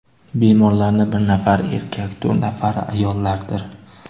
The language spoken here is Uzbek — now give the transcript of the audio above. Bemorlarning bir nafari erkak, to‘rt nafari ayollardir.